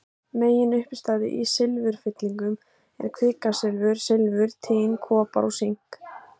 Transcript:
Meginuppistaða í silfurfyllingum er kvikasilfur, silfur, tin, kopar og sink.